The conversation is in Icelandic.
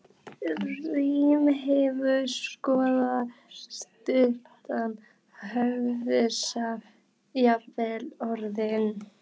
Rímið hefur skort, stuðlana, höfuðstafinn, jafnvel orðin.